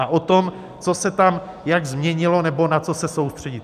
A o tom, co se tam jak změnilo nebo na co se soustředit.